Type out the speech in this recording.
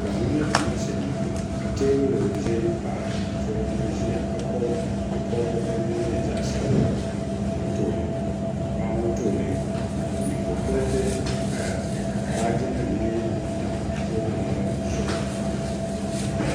kohamma ni damma shee n boŋo ka teebuli ʒɛ paɣa so ŋun ʒiya ka pobi nyɛ pobiriti din nyɛ zaɣ sabila ŋo tooni paɣa ŋo tooni nyingokoriti n paya baaji nim n nyɛ din tam teebuli ŋo zuɣu